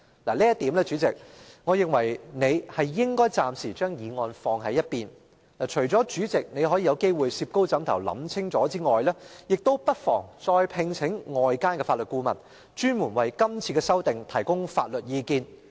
就這一點，主席，我認為你應暫時把擬議決議案擱在一邊，除了可以再加三思外，亦不妨再外聘法律顧問，專門為今次的修訂提供法律意見。